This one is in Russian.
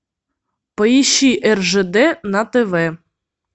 поищи ржд на тв